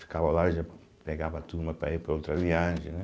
Ficava lá e já pegava a turma para ir para outra viagem, né?